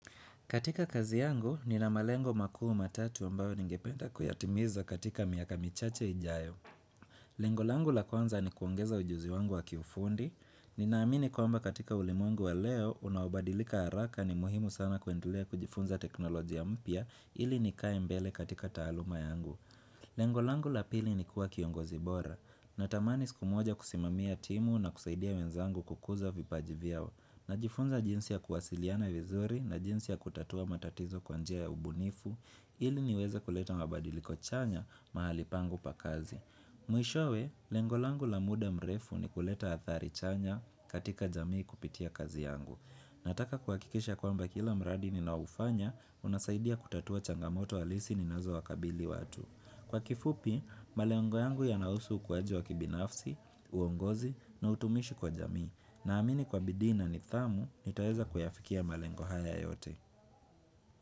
Katika kazi yangu, ninamalengo makuu ma tatu ambayo ningependa kuyatimiza katika miaka michache ijayo. Lengolangu la kwanza ni kuongeza ujuzi wangu wa kiufundi. Ninaamini kwamba katika ulimwengu wa leo, unaobadilika haraka ni muhimu sana kuendlea kujifunza teknolojia mpya ili nikae mbele katika taaluma yangu. Lengolangu la pili ni kuwa kiongozi bora. Natamani siku moja kusimamia timu na kusaidia wenzangu kukuza vipajivyao. Najifunza jinsi ya kuwasiliana vizuri na jinsi ya kutatua matatizo kwanjia ya ubunifu, ili niweze kuleta mabadiliko chanya mahalipangu pakazi. Mwishowe, lengolangu la muda mrefu ni kuleta athari chanya katika jamii kupitia kazi yangu. Nataka kuhakikisha kwamba kila mradi ni naoufanya, unasaidia kutatua changamoto halisi ni nazo wakabili watu. Kwa kifupi, malengo yangu ya nausu ukuaji wa kibinafsi, uongozi na utumishi kwa jamii. Na amini kwa bidii na nithamu, nitaweza kuyafikia malengo haya yote.